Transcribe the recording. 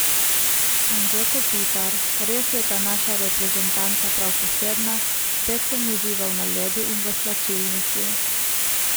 Anže Kopitar: 'Res je ta naša reprezentanca prav posebna, spet sem užival na ledu in v slačilnici.